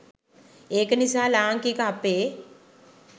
ඒක නිසා ලාංකික අපේ